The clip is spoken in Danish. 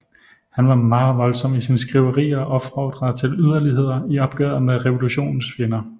Han var meget voldsom i sine skriverier og opfordrede til yderligheder i opgøret med revolutionens fjender